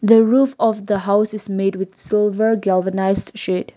the roof of the house is made with silver organised shed.